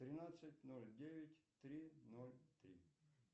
тринадцать ноль девять три ноль три